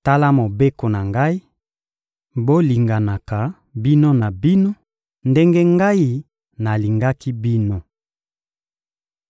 Tala mobeko na Ngai: bolinganaka bino na bino ndenge Ngai nalingaki bino.